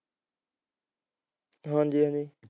ਹਾਂਜੀ ਹਾਂਜੀ